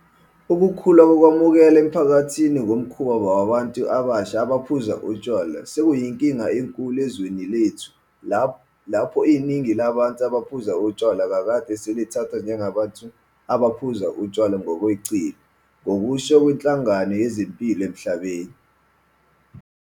Ukukhula kokwamukeleka emphakathini komkhuba wabantu abasha abaphuza utshwala sekuyinkinga enkulu ezweni lethu lapho iningi labantu abaphuza utshwala kakade selithathwa njengabantu abaphuza utshwala ngokweqile ngokusho kweNhlangano Yezempilo Emhlabeni.